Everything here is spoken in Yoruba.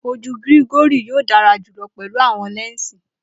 Oju Gregory yoo dara julọ pẹlu awọn lẹnsi.